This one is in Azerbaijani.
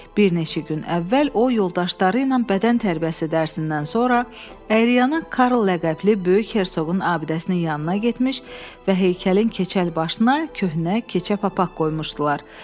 Bir neçə gün əvvəl o yoldaşları ilə bədən tərbiyəsi dərsindən sonra Əyriyana Karl ləqəbli böyük hersoqun abidəsinin yanına getmiş və heykəlin keçəl başına köhnə keçə papaq qoymuşdular.